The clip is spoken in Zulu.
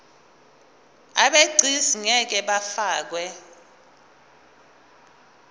abegcis ngeke bafakwa